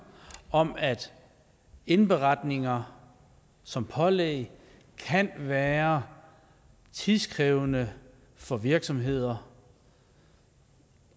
om at indberetninger som pålæg kan være tidskrævende for virksomheder